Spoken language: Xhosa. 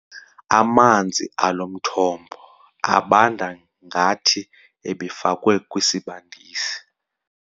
Amanzi alo mthombo abanda ngathi ebefakwe kwisibandisi.